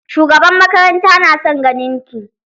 Shugaban makaranta na son ganin ki.